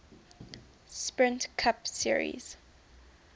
sprint cup series